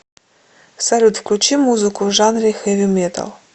салют включи музыку в жанре хэви металл